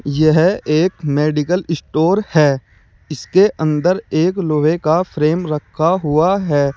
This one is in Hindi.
यह एक मेडिकल स्टोर है इसके अंदर एक लोहे का फ्रेम रखा हुआ है।